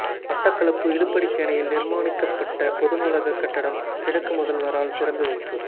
மட்டக்களப்பு இலுப்படிச்சேனையில் நிர்மாணிக்கப்பட்ட பொதுநூலகக் கட்டடம் கிழக்கு முதல்வரால் திறந்து வைப்பு